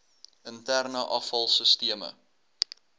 interne afval sisteme